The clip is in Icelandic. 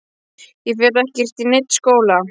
Ég fer ekkert í neinn skóla!